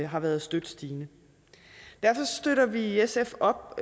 har været støt stigende derfor støtter vi i sf op